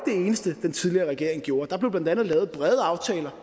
eneste den tidligere regering gjorde der blev blandt andet lavet brede aftaler